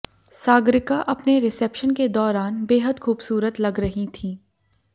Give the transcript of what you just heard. सागरिका अपने रिसेप्शन के दौरान बेहद खूबसूरत लग रही थीं